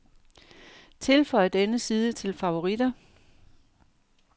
Tilføj denne side til favoritter.